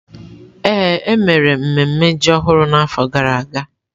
Ee, e mere mmemme ji ọhụrụ n’afọ gara aga.